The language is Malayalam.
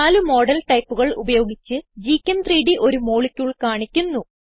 നാല് മോഡൽ ടൈപ്പുകൾ ഉപയോഗിച്ച് gchem3ഡ് ഒരു മോളിക്യൂൾ കാണിക്കുന്നു